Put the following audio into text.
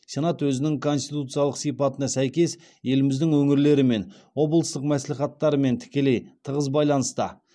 сенат өзінің конституциялық сипатына сәйкес еліміздің өңірлерімен облыстық мәслихаттармен тікелей тығыз байланыста